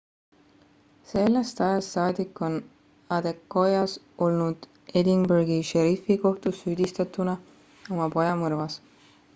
sellest ajast saadik on adekoya olnud edinburghi šerifikohtus süüdistatuna oma poja mõrvas